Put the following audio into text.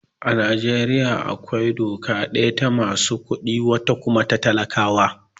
A Najeriya akwai doka daya ta masu kuɗi, wata kuma ta talakawa.